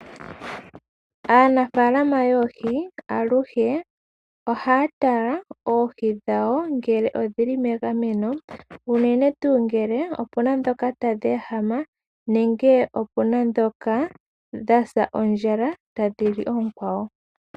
Aanafaalama yoohi aluhe ohaya tala oohi dhawo ngele odhili megameno unene tu ngele opuna dhoka tadhi ehama nenge opuna dhoka dhasa ondjala tadhi li ookwawo.